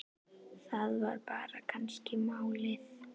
Það var kannski bara málið.